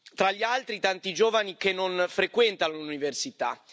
Tra gli altri, i tanti giovani che non frequentano l'università.